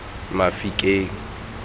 mafikeng